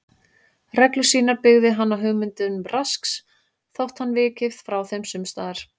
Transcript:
Reglur sínar byggði hann á hugmyndum Rasks þótt hann viki frá þeim sums staðar.